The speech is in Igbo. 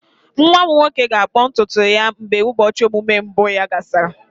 Nwa m nwoke ga-akpụ ntutu ya mgbe ụbọchị ọmụmụ mbụ ya gasịrị.